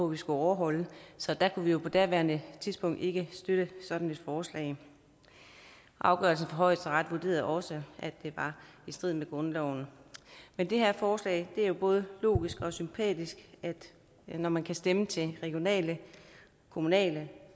vi skal overholde så der kunne vi jo på daværende tidspunkt ikke støtte sådan et forslag afgørelsen fra højesteret vurderede også at det var i strid med grundloven men det her forslag er jo både logisk og sympatisk når man kan stemme til regionale kommunale